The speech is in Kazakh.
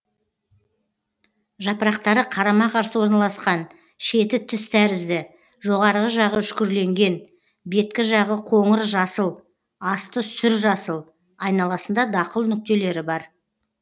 жапырақтары қарама қарсы орналасқан шеті тіс тәрізді жоғарғы жағы үшкірленген беткі жағы қоңыр жасыл асты сүр жасыл айналасында дақыл нүктелері бар